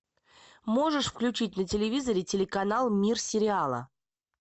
можешь включить на телевизоре телеканал мир сериала